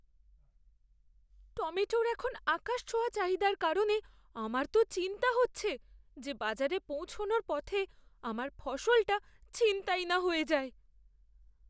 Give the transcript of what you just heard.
টমেটোর এখন আকাশছোঁয়া চাহিদার কারণে আমার তো চিন্তা হচ্ছে যে বাজারে পৌঁছনোর পথে আমার ফসলটা ছিনতাই না হয়ে যায়।